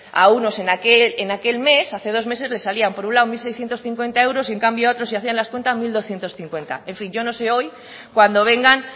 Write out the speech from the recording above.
a unos en aquel mes hace dos meses les salían por un lado mil seiscientos cincuenta euros y en cambio a otros si hacían las cuentas mil doscientos cincuenta en fin yo no sé hoy cuando vengan